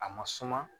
A ma suma